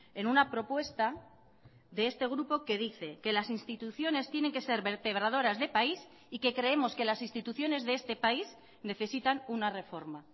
en una propuesta de este grupo que dice que las instituciones tienen que ser vertebradoras de país y que creemos que las instituciones de este país necesitan una reforma